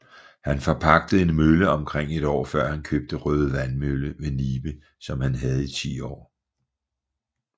Han forpagtede en mølle omkring et år før han købte Røde Vandmølle ved Nibe som han havde i 10 år